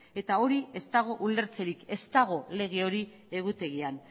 eta hori ez dago ulertzerik ez dago lege hori egutegian